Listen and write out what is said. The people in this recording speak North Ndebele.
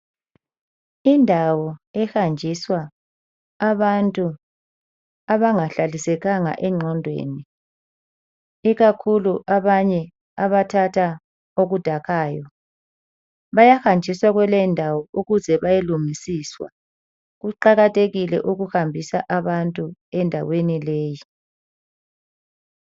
Indawo ehanjiswa abantu abangahlalisekanga engqondweni ikakhulu abanye abathatha okudakayo. Bayahanjiswa kuleyindawo ukuze bayelungiswa. Kuqakathekile ukuhambisa abantu endaweni leyi.